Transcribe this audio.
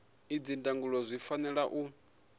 idzi ndangulo zwi fanela u